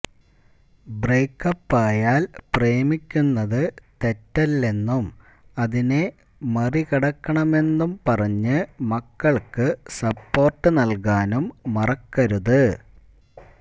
ബ്രേക്കപ്പായാല് പ്രേമിക്കുന്നത് തെറ്റല്ലെന്നും അതിനെ മറികടക്കണമെന്നും പറഞ്ഞ് മക്കള്ക്ക് സപ്പോര്ട്ട് നല്കാനും മറക്കരുത്